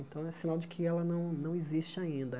Então, é sinal de que ela não não existe ainda.